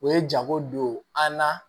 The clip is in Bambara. U ye jago don an na